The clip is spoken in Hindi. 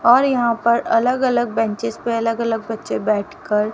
और यहां पर अलग अलग बेंचस पे अलग अलग बच्चे बैठ कर--